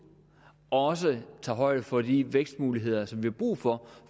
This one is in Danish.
også tager højde for de vækstmuligheder som vi har brug for